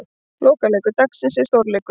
Lokaleikur dagsins er stórleikur.